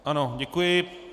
Ano, děkuji.